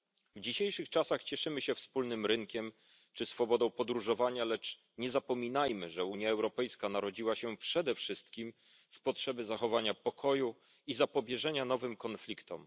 W dzisiejszych czasach cieszymy się wspólnym rynkiem czy swobodą podróżowania, lecz nie zapominajmy, że Unia Europejska narodziła się przede wszystkim z potrzeby zachowania pokoju i zapobieżenia nowym konfliktom.